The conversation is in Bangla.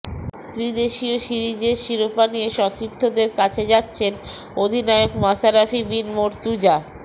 ত্রিদেশীয় সিরিজের শিরোপা নিয়ে সতীর্থদের কাছে যাচ্ছেন অধিনায়ক মাশরাফি বিন মর্তুজা